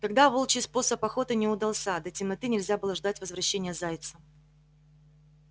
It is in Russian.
тогда волчий способ охоты не удался до темноты нельзя было ждать возвращения зайца